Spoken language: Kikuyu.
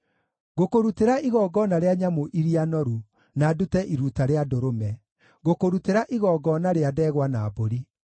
Ngũkũrutĩra igongona rĩa nyamũ iria noru, na ndute iruta rĩa ndũrũme; ngũkũrutĩra igongona rĩa ndegwa na mbũri.